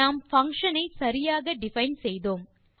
நாம் பங்ஷன் ஐ சரியாக டிஃபைன் செய்தோம்